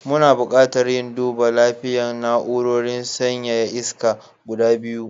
Muna buƙatar yin duba lapiyan na'urorin sanyaya iska guda biyu.